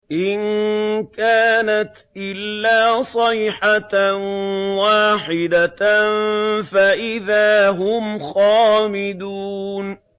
إِن كَانَتْ إِلَّا صَيْحَةً وَاحِدَةً فَإِذَا هُمْ خَامِدُونَ